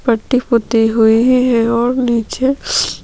पट्टी-पुती हुई है और निचे--